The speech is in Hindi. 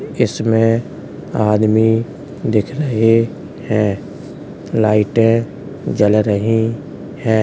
इसमें आदमी दिख रहे हैं। लाइटें जल रही हैं।